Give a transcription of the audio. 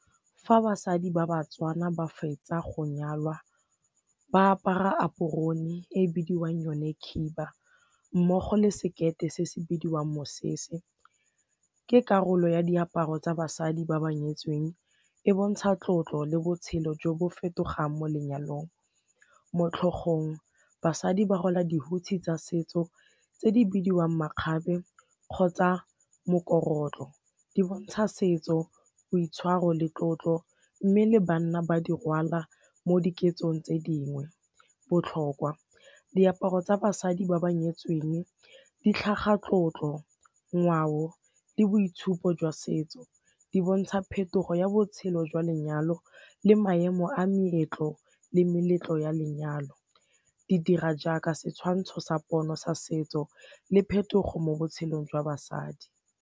Fa basadi ba baTswana ba fetsa go nyalwa ba apara aporone e bidiwang yone khiba mmogo le sekete se se bidiwang mosese, ke karolo ya diaparo tsa basadi ba ba nyetsweng e bontsha tlotlo le botshelo jo bo fetogang mo lenyalong. Mo tlhogong basadi ba rwala dihutshe tsa setso tse di bidiwang makgabe kgotsa mokorotlo, di bontsha setso, boitshwaro le tlotlo mme le banna ba di rwala mo diketsong tse dingwe. Botlhokwa, diaparo tsa basadi ba ba nyetsweng di tlhaga tlotlo, ngwao le boitshupo jwa setso, di bontsha phetogo ya botshelo jwa lenyalo le maemo a meetlo le meletlo ya lenyalo di dira jaaka setshwantsho sa pono sa setso le phetogo mo botshelong jwa basadi.